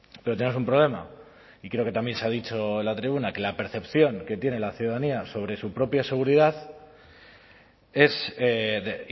pero tenemos un problema y creo que también se ha dicho en la tribuna que la percepción que tiene la ciudadanía sobre su propia